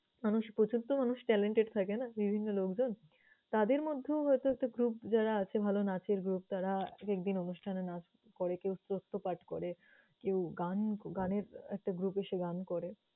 মানুষ প্রচুর তো মানুষ talented থাকে না! বিভিন্ন লোকজন। তাদের মধ্যেও হয়তো একটা group যারা আছে ভালো নাচের group তারা একেকদিন অনুষ্ঠানে নাচ করে, কেউ পাঠ করে, কেউ গান~ গানের একটা group এসে গান করে।